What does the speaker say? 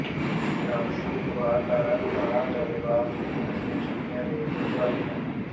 ਰਾਜਸੀ ਦਬਾਅ ਕਾਰਨ ਥਾਣਾ ਚੱਬੇਵਾਲ ਦੀ ਪੁਲਿਸ ਨੇ ਛੱਡੀਆਂ ਰੇਤ ਟਰਾਲੀਆਂ